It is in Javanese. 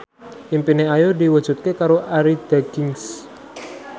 impine Ayu diwujudke karo Arie Daginks